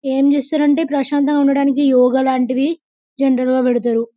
ఏం చేస్తున్నారు అంటే ప్రశాంతంగా ఉండడానికి యోగ అలాంటివి జనరల్ గా పెడతారు .